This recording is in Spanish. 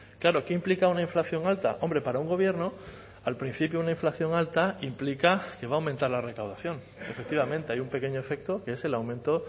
claro qué implica una inflación alta hombre para un gobierno al principio una inflación alta implica que va a aumentar la recaudación efectivamente hay un pequeño efecto que es el aumento